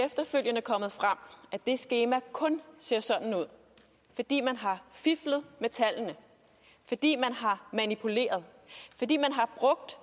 efterfølgende kommet frem at det skema kun ser sådan ud fordi man har fiflet med tallene fordi man har manipuleret fordi man har brugt